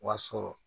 Wa sɔrɔ